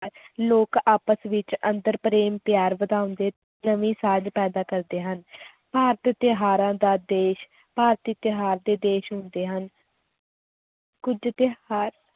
ਲੋਕ ਆਪਸ ਵਿੱਚ ਅੰਤਰ ਪ੍ਰੇਮ ਪਿਆਰ ਵਧਾਉਂਦੇ ਨਵੀਂ ਸਾਂਝ ਪੈਦਾ ਕਰਦੇ ਹਨ ਭਾਰਤ ਤਿਉਹਾਰਾਂ ਦਾ ਦੇਸ, ਭਾਰਤੀ ਤਿਉਹਾਰ ਦੇ ਦੇਸ ਹੁੰਦੇ ਹਨ ਕੁੱਝ ਤਿਉਹਾਰ